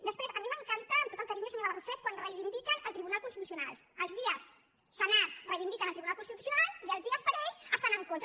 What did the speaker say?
després a mi m’encanta amb tot el carinyo senyora barrufet quan reivindiquen el tribunal constitucional els dies senars reivindiquen el tribunal constitucional i els dies parells hi estan en contra